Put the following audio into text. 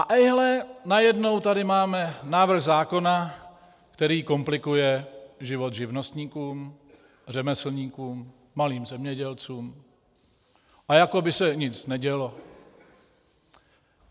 A ejhle, najednou tady máme návrh zákona, který komplikuje život živnostníkům, řemeslníkům, malým zemědělcům a jako by se nic nedělo.